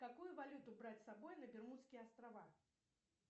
какую валюту брать с собой на бермудские острова